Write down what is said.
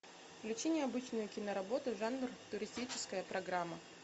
включи необычную киноработу жанр туристическая программа